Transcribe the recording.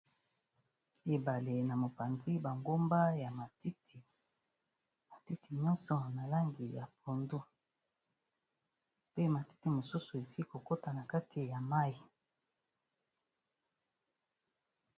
Ebale na mopanzi ba ngomba ya matiti. Matiti nyonso na langi ya pondu, pe matiti mosusu esili ko kota na kati ya mayi.